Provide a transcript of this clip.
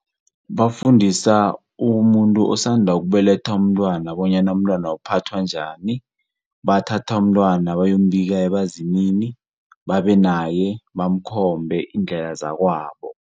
Bafundisa umuntu osanda ukubeletha umntwana bonyana umntwana uphathwa njani, bathatha umntwana bayombika ebazimini, babe naye bamkhombe iindlela zakwabo.